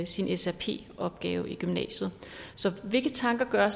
sin srp opgave i gymnasiet hvilke tanker gør